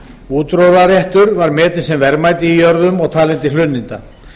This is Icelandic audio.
útróðraréttur var metinn sem verðmæti í jörðum og talinn til hlunninda